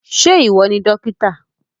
Ṣé ìwọ ni dókítà?